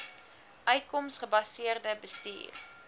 uitkoms gebaseerde bestuur